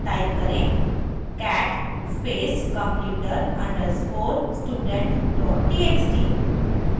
type करें cat space computer _ student txt